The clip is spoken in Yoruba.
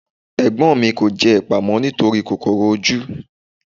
Ẹ̀gbọ́n mi kò jẹ ẹpa mọ́ nítorí kòkòrò ojú.